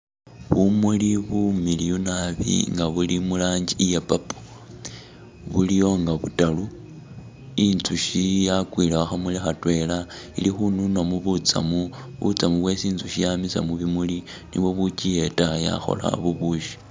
Bumuli bumiliyu naabi nga buli mu rangi iya purple, biliyo nga butaru, inzushi yakwiile khukhamuli khatwela ili khununamo butsamu, butsamu bwesi inzukhi yamisa mubimuli nibwo bukyiyeta yakhola bubushi.